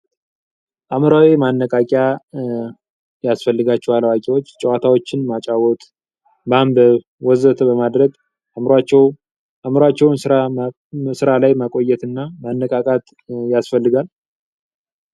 አምራዊ ማነቃቂ ያስፈልጋቸዋል አዋቂዎች ጨዋታዎችን ማጫወት ወዘተ በማድረግ አምሯቸው አዕምሯቸውን ራ ላይ መቆየትና መነቃቃት ያስፈልጋል